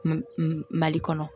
Mali kɔnɔ